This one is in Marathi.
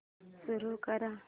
सुरू कर